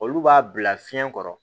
Olu b'a bila fiɲɛ kɔrɔ